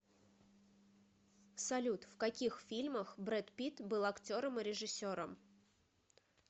салют в каких фильмах брэд питт был актером и режиссером